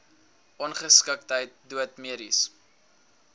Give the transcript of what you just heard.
ongeskiktheid dood mediese